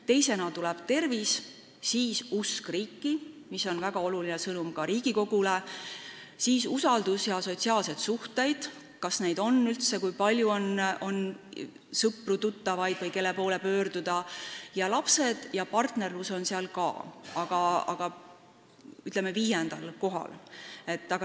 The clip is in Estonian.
Teisena tuleb tervis, siis usk riiki , järgmiseks on usaldus ja sotsiaalsed suhted ning lapsed ja partnerlus on seal ka kirjas, aga viiendal kohal.